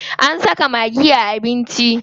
An saka maggi a abinci.